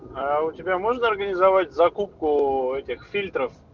а у тебя можно организовать закупку этих фильтр